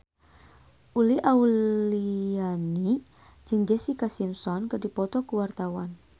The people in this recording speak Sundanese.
Uli Auliani jeung Jessica Simpson keur dipoto ku wartawan